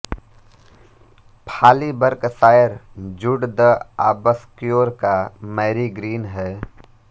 Fawley Berkshire Jude the Obscure का Marygreen है